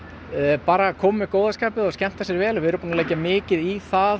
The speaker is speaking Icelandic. bara að koma með góða skapið við erum búin að leggja mikið í það að